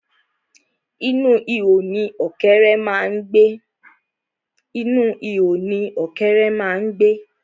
Inú ihò ni ọ̀kẹ́ré má ń gbé.